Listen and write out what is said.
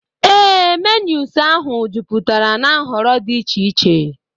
Ee, menus ahụ jupụtara na nhọrọ dị iche iche.